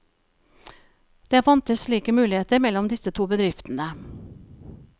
Det fantes slike muligheter mellom disse to bedriftene.